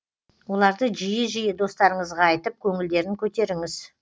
оларды жиі жиі достарыңызға айтып көңілдерін көтеріңіз